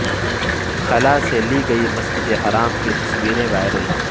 خلا سے لی گئی مسجد الحرام کی تصویر وائرل